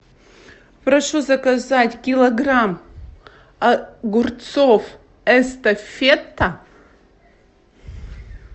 прошу заказать килограмм огурцов эстафета